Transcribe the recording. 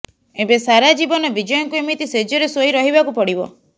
ଏବେ ସାରା ଜୀବନ ବିଜୟଙ୍କୁ ଏମିତି ଶେଜରେ ଶୋଇ ରହିବାକୁ ପଡ଼ିବ